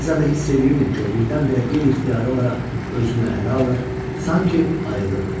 Bəzən də hiss eləyirdim ki, o birdən-birə qeyri-ixtiyari olaraq özünü ələ alır, sanki ayılırdı.